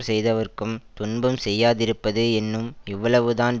செய்தவர்க்கும் துன்பம் செய்யாதிருப்பது என்னும் இவ்வளவுதான்